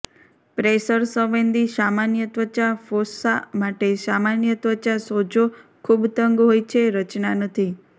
pressure સંવેદી સામાન્ય ત્વચા ફોસ્સા માટે સામાન્ય ત્વચા સોજો ખૂબ તંગ હોય છે રચના નથી